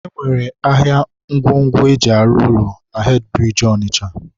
e nwekwara ahịa ngwongwo e ji arụ ụlọ na hedịbiriji Ọnịcha..